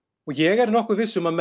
og ég er nokkuð viss um að